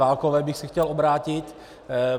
Válkové bych se chtěl obrátit.